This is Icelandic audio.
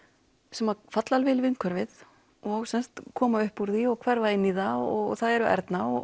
sem falla alveg inn í umhverfið og koma upp úr því og hverfa inn í það það eru Erna og